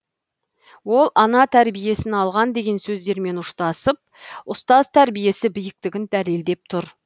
ол ана тәрбиесін алған деген сөздермен ұштасып ұстаз тәрбиесі биіктігін дәлелдеп тұр